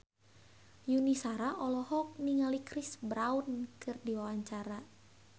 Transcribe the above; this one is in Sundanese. Yuni Shara olohok ningali Chris Brown keur diwawancara